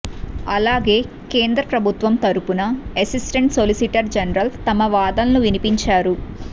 అలాగే కేంద్రప్రభుత్వం తరఫున అసిస్టెంట్ సొలిసిటర్ జనరల్ తమ వాదనలు వినిపించారు